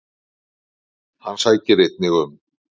Hann sækir einnig um.